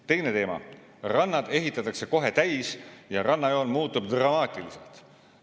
Teine teema: rannad ehitatakse kohe täis ja rannajoon muutub dramaatiliselt.